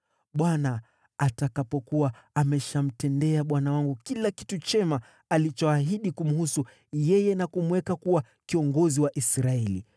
Bwana atakapokuwa ameshamtendea bwana wangu kila kitu chema alichoahidi kumhusu yeye na kumweka kuwa kiongozi wa Israeli,